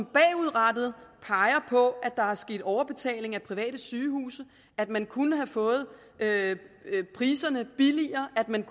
bagudrettet at pege på at der er sket overbetaling af private sygehuse at man kunne have fået priserne billigere at man